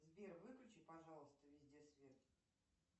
сбер выключи пожалуйста везде свет